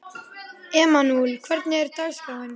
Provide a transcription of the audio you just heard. Emanúel, hvernig er dagskráin?